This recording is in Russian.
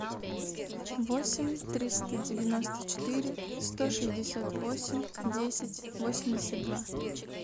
восемь триста девяносто четыре сто шестьдесят восемь десять восемьдесят два